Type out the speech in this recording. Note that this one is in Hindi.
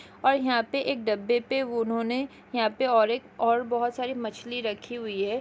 और यहाँ पे एक डब्बे पे उन्होंने यहाँ पे और एक और बहुत सारी मछली रखी हुई है।